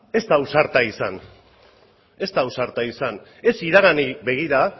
ez da ausarta izan ez da ausarta izan ez iraganari begira